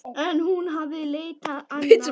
En hún hafði leitað annað.